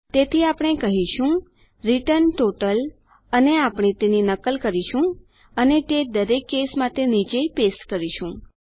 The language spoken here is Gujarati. તેથી આપણે કહીશું રિટર્ન ટોટલ અને આપણે તેની નકલ કરીશું અને તે દરેક કેસ માટે નીચે ચોટાડીશું